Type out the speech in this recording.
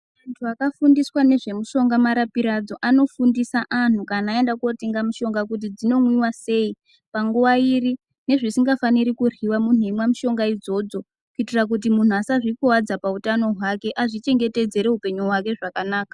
Antu akafundiswa nezvemishonga marapiro adzo anofundisa antu kana aenda kunotenga mishonga kuti dzinomwiva sei. Panguva iri nezvisingafaniri kuryiva muntu eimwa mushonga idzodzo. Kuitira kuti muntu asazvikuvadza pautano hwake azvichengetedzere upenyu hwake zvakanaka.